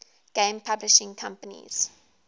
game publishing companies